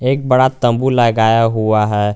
एक बड़ा तंबू लगाया हुआ है।